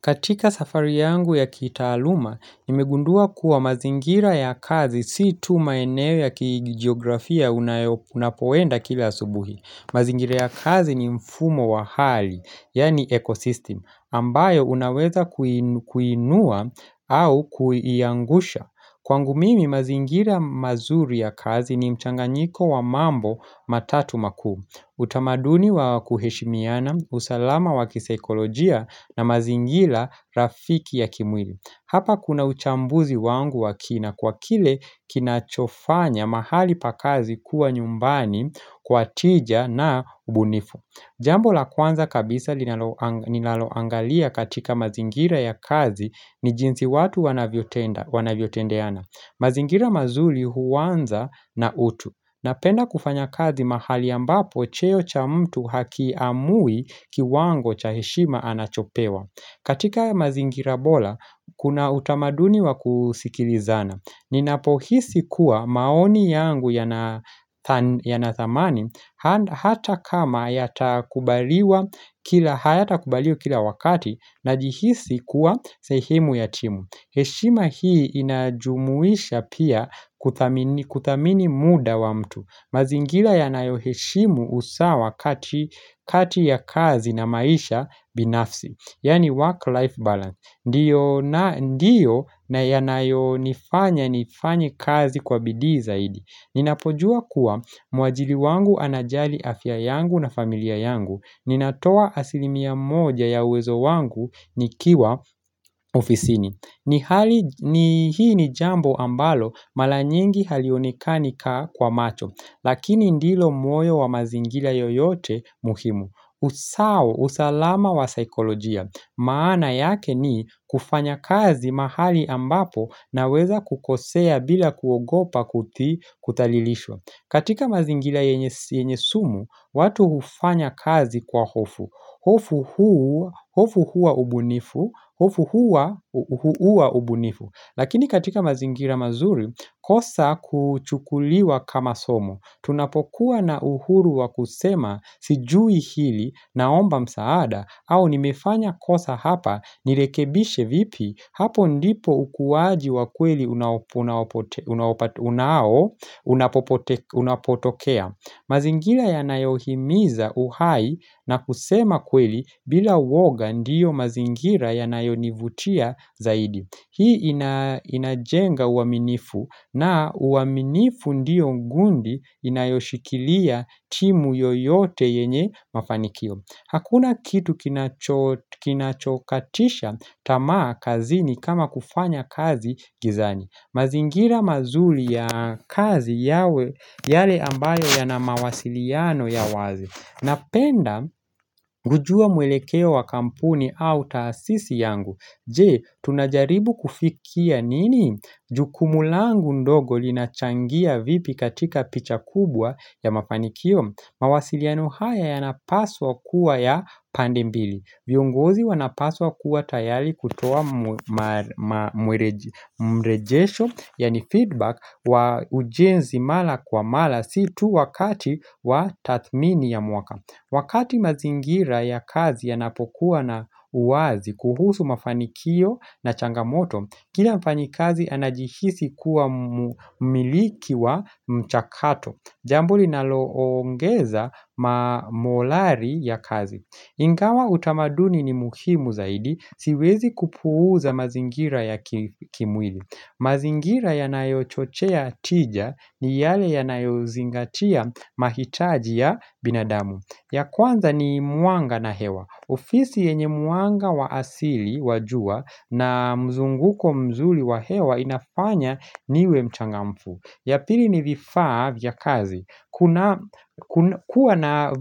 Katika safari yangu ya kitaaluma, nimegundua kuwa mazingira ya kazi si tu maeneo ya kijiografia unapo enda kila subuhi. Mazingira ya kazi ni mfumo wa hali, yani ecosystem, ambayo unaweza kuinua au kuiangusha. Kwangu mimi, mazingira mazuri ya kazi ni mchanganyiko wa mambo matatu makuu. Utamaduni wa kuheshimiana, usalama wakiseikolojia na mazingila rafiki ya kimwili. Hapa kuna uchambuzi wangu wakina, kwa kile kinachofanya mahali pakazi kuwa nyumbani kwa tija na ubunifu. Jambo la kwanza kabisa linalo ninaloangalia katika mazingira ya kazi ni jinsi watu wanavyo tenda wanavyotendeana. Mazingira mazuli huwanza na utu. Napenda kufanya kazi mahali ambapo, cheo cha mtu haki amui kiwango cha heshima anachopewa. Katika mazingira bora, kuna utamaduni wa kusikilizana. Ninapo hisi kuwa maoni yangu yanathamani, hata kama haya takubalio kila wakati na jihisi kuwa sehemu ya timu. Heshima hii inajumuisha pia kudhamini muda wa mtu. Mazingira yanayo heshimu usawa kati ya kazi na maisha binafsi, yaaani; work life balance Ndiyo na yanayo nifanya nifanye kazi kwa bidii zaidi. Ninapojua kuwa mwajili wangu anajali afya yangu na familia yangu. Ninatoa asilimia moja ya uwezo wangu nikiwa ofisini ni, hii ni jambo ambalo, mara nyingi halionekani kwa macho, lakini ndilo moyo wa mazingila yoyote muhimu. Usao, usalama wa saikolojia. Maana yake ni kufanya kazi mahali ambapo na weza kukosea bila kuogopa kutalilishwa. Katika mazingira yenye sumu, watu hufanya kazi kwa hofu. Hofu hua ubunifu, hofu hua ubunifu. Lakini katika mazingira mazuri, kosa huchukuliwa kama somo. Tunapokuwa na uhuru wa kusema sijui hili, naomba msaada au nimefanya kosa hapa, nilekebishe vipi, hapo ndipo ukuwaji wa kweli unapotokea. Mazingira ya nayohimiza uhai na kusema kweli bila uooga ndiyo mazingira ya nayonivutia zaidi. Hii inajenga uaminifu na uaminifu ndiyo ngundi inayoshikilia timu yoyote yenye mafanikio. Hakuna kitu kinachokatisha tamaa kazini, kama kufanya kazi gizani. Mazingira mazuri ya kazi yawe yale ambayo yana mawasiliano ya wazi. Napenda kujua mwelekeo wa kampuni au taasisi yangu. Je, tunajaribu kufikia nini? Jukumu langu ndogo linachangia vipi katika picha kubwa ya mafanikio? Mawasiliano haya yanapaswa kuwa ya pande mbili. Viongozi wanapaswa kuwa tayari kutoa mrejesho, yaani, feedback wa ujenzi mara kwa mara si tu wakati wa tadhimini ya mwaka. Wakati mazingira ya kazi ya napokuwa na uwazi kuhusu mafanikio na changa moto, kila mfanyi kazi anajihisi kuwa mumiliki wa mchakato. Jambo linalo ongeza ma molari ya kazi. Ingawa utamaduni ni muhimu zaidi, siwezi kupuuza mazingira ya kimwili. Mazingira yanayo chochea tija ni yale ya nayo zingatia mahitaji ya binadamu. Ya kwanza ni mwanga na hewa. Ofisi yenye mwanga wa asili wa jua na mzunguko mzuli wa hewa, inafanya niwe mchangamfu. Ya pili ni vifaa vya kazi. Kuna kuwa na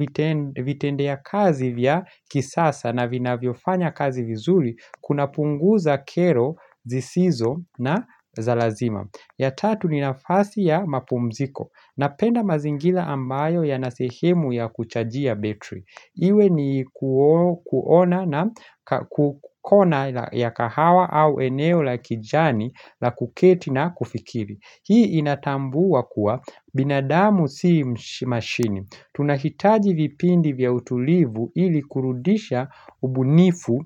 vitendea kazi vya kisasa na vina vyofanya kazi vizuri, kuna punguza kero, zisizo na za lazima. Ya tatu ni nafasi ya mapumziko. Napenda mazingila ambayo ya na sehemu ya kuchajia battery. Iwe ni kuona, na kona ya kahawa au eneo la kijani la kuketi na kufikiri. Hii inatambua kuwa binadamu si mashini. Tunahitaji vipindi vya utulivu, ili kurudisha ubunifu.